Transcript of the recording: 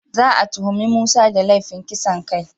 Za a tuhumi Musa da laifin kisan kai.